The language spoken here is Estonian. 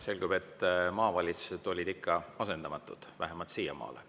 Selgub, et maavalitsused on ikka asendamatud, vähemalt siiamaale.